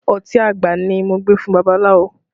Ọtí àgbà ni mo gbé fún babaláwo